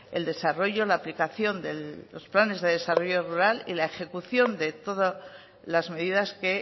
el desarrollo la aplicación de los planes de desarrollo rural y la ejecución de todas las medidas que